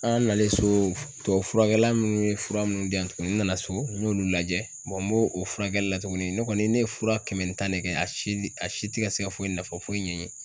An nalen so tubabu furakɛla nunnu ye fura munnu diyan tugunni, n nana so n y'olu lajɛ n b'o o furakɛli la tugunni ne kɔni ne ye fura kɛmɛ ni tan ne kɛ a si a si tɛ ka se ka foyi nafa foyi ɲɛ n ye.